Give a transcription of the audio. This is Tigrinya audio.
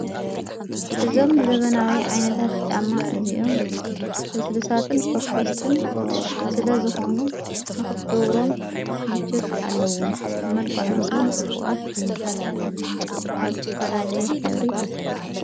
እዞም ዘበናዊ ዓይነታት ፃማ እዚኦም ብሥሳትን ፈኮስትን ስለ ዝኾኑ ንኽትጐብሮም ምቾት ኣለዉን መልቃዑምውን ጽቡቓት እዮም ካብ ቲፋላለየ ኅብሪ ተሠሪሓ።